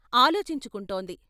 ఆలోచించుకుంటోంది.